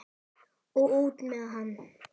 Og út með hann!